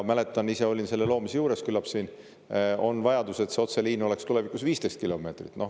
Mäletan, ise olin selle loomise juures, et küllap siin on vajadus, et see otseliin oleks tulevikus 15 kilomeetrit.